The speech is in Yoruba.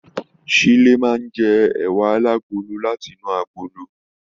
Shile máa n jẹ ẹwà alagolo láti inú agolo.